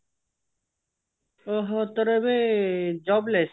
ଓ ହୋ ତୋର ଏବେ job less